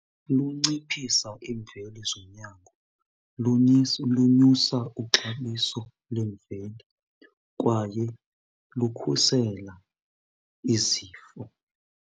Lunciphisa imveliso yakho, lunyusa uxabiso lemveli kwaye lukhusela izifo.